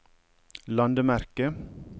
landemerke